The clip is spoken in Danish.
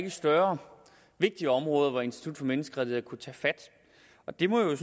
et større og vigtigere område hvor institut for menneskerettigheder kunne tage fat det må jeg